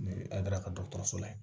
N'i ye a daraka dɔgɔtɔrɔso la